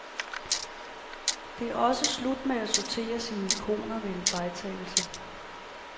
Det er også slut med at sortere sine ikoner ved en fejltagelse.